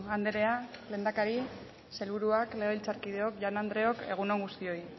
andrea lehendakari sailburuak legebiltzarkideok jaun andreok egun on guztioi